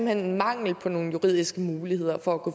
er en mangel på nogle juridiske muligheder for at gå